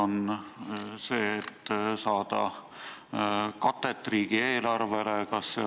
Kas see, et saada katet riigieelarvele?